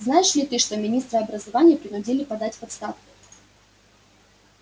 знаешь ли ты что министра образования принудили подать в отставку